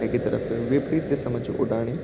वे की तरफ विपरीत दिशा मा च उडानी।